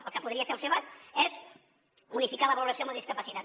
el que podria fer el sevad és unificar la valoració amb la discapacitat